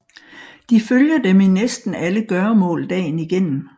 De følger dem i næsten alle gøremål dagen igennem